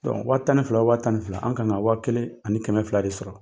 wa tan ni fila o wa tan ni fila an ka kan ka wa kelen ani kɛmɛ fila de sɔrɔ.